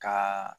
Ka